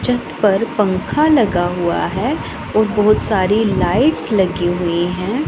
छत पर पंखा लगा हुआ है और बहोत सारी लाइट्स लगी हुई हैं।